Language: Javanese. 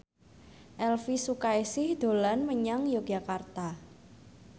Elvy Sukaesih dolan menyang Yogyakarta